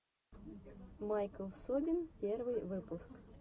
майкл собин первый выпуск